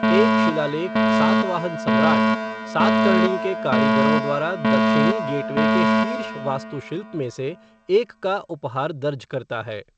एक शिलालेख सातवाहन सम्राट, सातकर्णी के कारीगरों द्वारा दक्षिणी गेटवे के शीर्ष वास्तुशिल्प में से एक का उपहार दर्ज करता है।